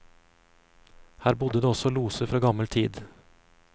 Her bodde det også loser fra gammel tid.